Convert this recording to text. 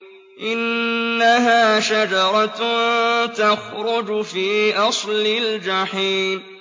إِنَّهَا شَجَرَةٌ تَخْرُجُ فِي أَصْلِ الْجَحِيمِ